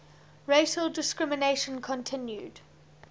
racial discrimination continued